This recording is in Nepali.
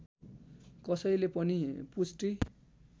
कसैले पनि पुष्टि